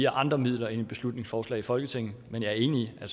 andre midler end et beslutningsforslag i folketinget men jeg er enig i at